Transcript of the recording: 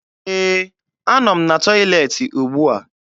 Ee, anọ m na tọyịleetị ugbua